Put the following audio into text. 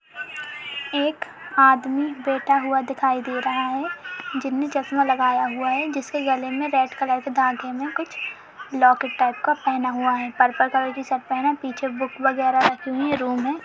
एक आदमी बेठा हुआ दिखाई दे रहा है जिसने चश्मा लगाया हुआ है जिसके गले में रेड कलर के धागे में कुछ लोकेट टाईप का पहना हुआ है पर्पल कलर की शर्ट पहना है पीछे बुक वगैरह रखा हुआ है रूम है।